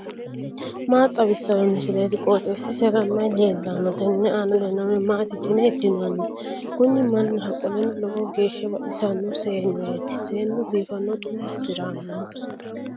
maa xawissanno misileeti? qooxeessisera may leellanno? tenne aana leellannori maati yitine heddinanni? kuni mannaho qoleno lowo geeshsha baxisanno seenneeti seennu biifanna xu'ma hasiranno